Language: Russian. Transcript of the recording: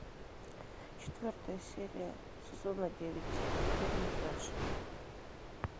четвертая серия сезона девять фильм флэш